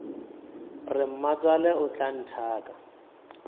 re mmatswale o tla nthaka